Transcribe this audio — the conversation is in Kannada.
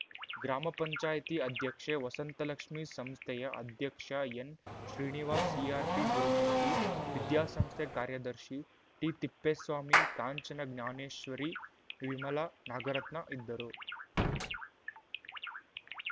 ಗ್ರಾಮ ಪಂಚಾಯತಿ ಅಧ್ಯಕ್ಷೆ ವಸಂತಲಕ್ಷ್ಮಿ ಸಂಸ್ಥೆಯ ಅಧ್ಯಕ್ಷ ಎನ್‌ಶ್ರೀನಿವಾಸ್‌ ಸಿಆರ್‌ಪಿ ಗುರುಮೂರ್ತಿ ವಿದ್ಯಾಸಂಸ್ಥೆ ಕಾರ್ಯದರ್ಶಿ ಟಿತಿಪ್ಪೇಸ್ವಾಮಿ ಕಾಂಚನ ಜ್ಞಾನೇಶ್ವರಿ ವಿಮಲಾ ನಾಗರತ್ನ ಇದ್ದರು